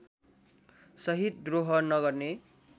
सहित द्रोह नगर्ने